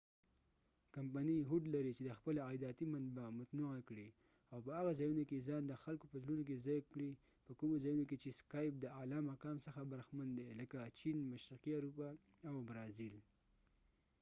کمپنی هوډ لري چې د خپله عایداتی منبع متنوعه کړي او په هغه ځایونو کې ځان د خلکو په زړونو کې ځای کړي په کومو ځایونو کې چې سکایپ د اعلی مقام څخه برخمن دي لکه چېن مشرقی اروپا او برازیل